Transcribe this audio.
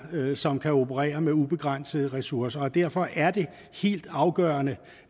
som kan operere med ubegrænsede ressourcer derfor er det helt afgørende